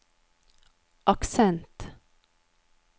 aksent